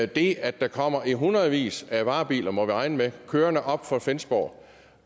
det at der kommer i hundredvis af varebiler må vi regne med kørende op fra flensborg